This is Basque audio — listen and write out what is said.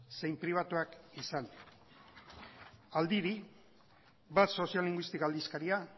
zein pribatuak izan bat soziolinguistika